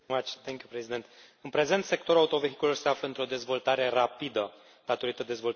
În prezent, sectorul autovehiculelor se află într o dezvoltare rapidă datorită dezvoltării tehnologiilor.